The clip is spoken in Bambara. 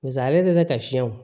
Basa ale tɛ se ka fiyɛ o